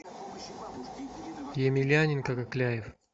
емельяненко кокляев